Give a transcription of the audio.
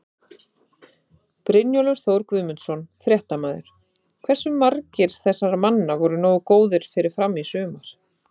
Brynjólfur Þór Guðmundsson, fréttamaður: Hversu margir þessara manna voru nógu góðir fyrir Fram í sumar?